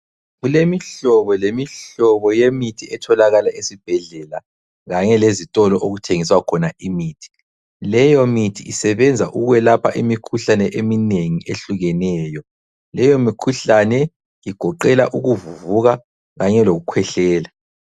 Kulemihlobo lemihlobo yemithi etholakala esibhedlela, kanye lezitolo okuthengiswa khona imithi. Leyomithi isebenza ukwelapha imikhuhlane eminengi ehlukeneyo. Leyomikhuhlane igoqela ukuvuvuka kanye lokukhwehlela.